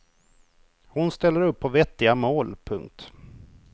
Hon ställer upp på vettiga mål. punkt